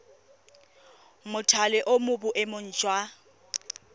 mothale o mo boemong jwa